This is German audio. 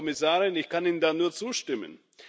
Frau Kommissarin, ich kann Ihnen da nur zustimmen.